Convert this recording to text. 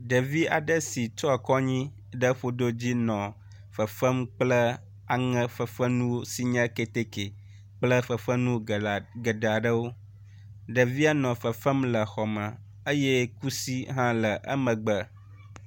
Ɖevi aɖe si tsɔ akɔ anyi ɖe ƒodo dzi nɔ fefem kple aŋefefenuwo si nye keteke kple fefenu geɖe aɖe geɖe aɖewo. Ɖevi nɔ fefem le xɔ me eye kusi hã nɔ emegbe.